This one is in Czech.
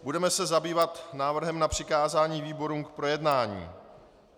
Budeme se zabývat návrhem na přikázání výborům k projednání.